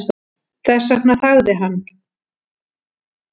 Þess vegna þagði hann.